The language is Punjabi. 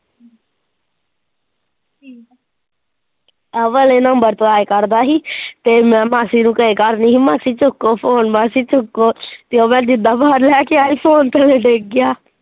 ਆਹ ਵਾਲੇ ਨੰਬਰ ਤੋਂ ਆਇਆ ਕਰਦਾ ਸੀ ਮੈਂ ਮਾਸੀ ਨੂੰ ਕਿਹਾ ਕਰਦੀ ਸੀ ਮਾਸੀ ਚੁੱਕੋ phone ਮਾਸੀ ਚੁੱਕੋ ਮੈਂ ਜਿੱਦਾ phone ਲੈ ਕੇ ਆਈ phone ਥੱਲੇ ਡਿੱਗ ਗਿਆ।